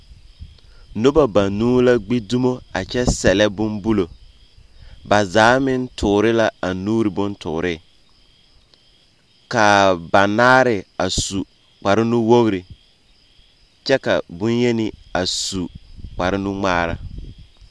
Noba banuu la gbi dumo a kyɛ sɛllɛ bombulo. Ba zaa meŋ toore ka a nuuri bontoore. Kaa ba naare a su kparre nuwogri, kyɛ ka bonyeni a su kparnuŋmaara.